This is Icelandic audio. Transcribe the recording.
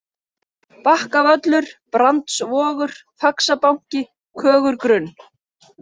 Bakkavöllur, Brandsvogur, Faxabanki, Kögurgrunn